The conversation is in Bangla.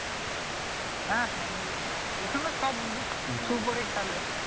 হ্যাঁ হ্যাঁএমনি এইখানে সব Shoe পড়ে খেলে